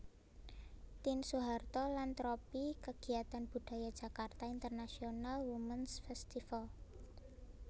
Tien Soeharto lan tropi kegiatan budaya Jakarta International Womens Festival